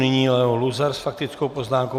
Nyní Leo Luzar s faktickou poznámkou.